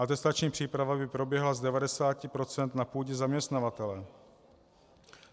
Atestační příprava by proběhla z 90 % na půdě zaměstnavatele.